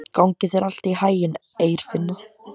Gangi þér allt í haginn, Eirfinna.